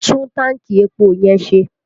Tún tanki epo yẹn ṣe!